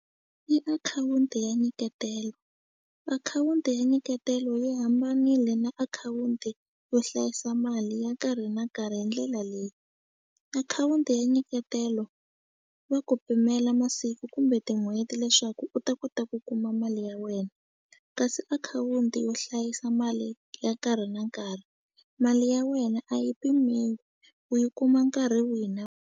I akhawunti ya nyiketela akhawunti ya nyiketelo yi hambanile na akhawunti yo hlayisa mali ya nkarhi na nkarhi hi ndlela leyi akhawunti ya nyiketelo va ku pimela masiku kumbe tin'hweti leswaku u ta kota ku kuma mali ya wena kasi akhawunti yo hlayisa mali ya nkarhi na nkarhi mali ya wena a yi pimiwi u yi kuma nkarhi wihi na .